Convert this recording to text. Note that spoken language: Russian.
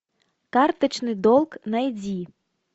карточный долг найди